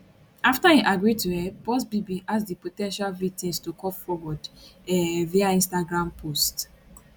afta im agree to help buzbee bin ask di po ten tial victims to come forward um via instagram post